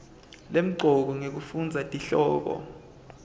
lemcoka ngekufundza tihloko